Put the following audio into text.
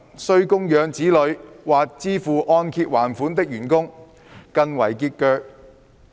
需供養子女或支付按揭還款的員工更為拮据。